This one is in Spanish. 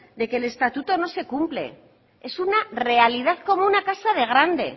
de que el estatuto no se cumple es una realidad como una casa de grande